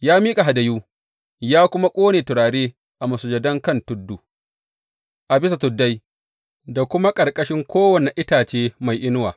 Ya miƙa hadayu, ya kuma ƙone turare a masujadan kan tudu, a bisa tuddai da kuma ƙarƙashin kowane itace mai inuwa.